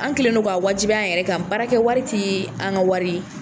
An kɛlen don ka wajibiya an yɛrɛ kan , baara kɛ wari ti an ka wari ye.